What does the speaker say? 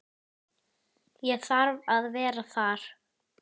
Ég þarf að vera þar.